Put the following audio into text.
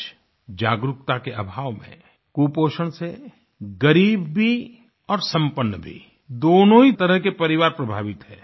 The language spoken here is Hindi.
आज जागरूकता के आभाव में कुपोषण से ग़रीब भी और संपन्न भी दोनों ही तरह के परिवार प्रभावित हैं